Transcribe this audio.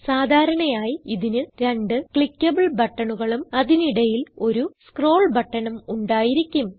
സാധാരണയായി ഇതിന് രണ്ട് ക്ലിക്കബിൾ ബട്ടണുകളും അതിനടിയിൽ ഒരു സ്ക്രോൾ ബട്ടണും ഉണ്ടായിരിക്കും